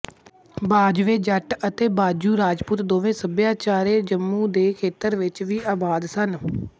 ਬਾਜਵੇ ਜੱਟ ਅਤੇ ਬਾਜੂ ਰਾਜਪੂਤ ਦੋਵੇਂ ਭਾਈਚਾਰੇ ਜੰਮੂ ਦੇ ਖੇਤਰ ਵਿੱਚ ਵੀ ਆਬਾਦ ਸਨ